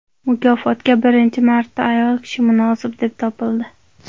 Mukofotga birinchi marta ayol kishi munosib deb topildi.